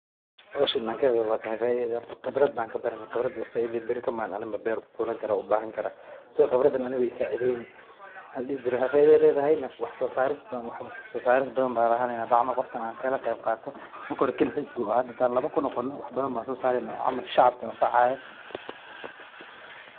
Hoshan hadan ka qaeb qadato waxee igu sacideyni faida badan marka han kala qebbqato wax badan aya sameyneyna waxaa yele hada kaligisa waye hadow shacabka ayan wax kafaidi sas waye.